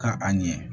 Ka a ɲɛ